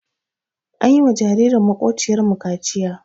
An yi wa jaririn maƙwabciyarmu kaciya.